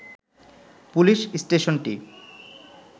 police স্টেশনটি